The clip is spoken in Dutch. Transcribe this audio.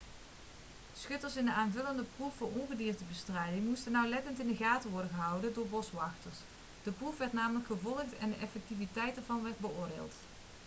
schutters in de aanvullende proef voor ongediertebestrijding moesten nauwlettend in de gaten worden gehouden door boswachters de proef werd namelijk gevolgd en de effectiviteit ervan werd beoordeeld